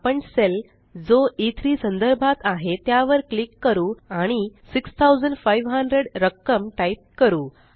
आपण सेल जो E3संदर्भात आहे त्यावर क्लिक करू आणि 6500 रक्कम टाइप करू